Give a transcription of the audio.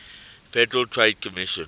federal trade commission